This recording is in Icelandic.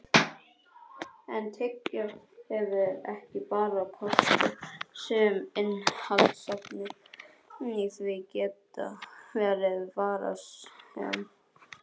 En tyggjó hefur ekki bara kosti, sum innihaldsefni í því geta verið varasöm.